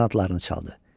Qanadlarını çaldı.